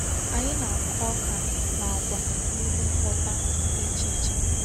Anyị na-akụ ọ́ka na àgwà n’elu mkpótá dị iche iche.